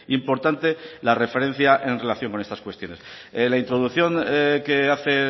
importante la referencia en relación con estas cuestiones la introducción que hace